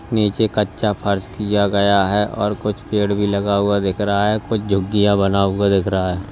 नीचे कच्चा फर्श किया गया है और कुछ पेड़ भी लगा हुआ दिख रहा है कुछ झुग्गियां बना हुआ दिख रहा है।